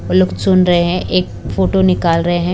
लोग सुन रहे हैं एक फोटो निकाल रहे हैं।